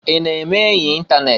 I na-eme enyi itanet?